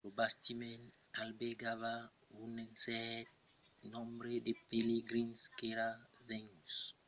lo bastiment albergava un cèrt nombre de pelegrins qu'èran venguts visitar la vila santa la velha del pelegrinatge hajj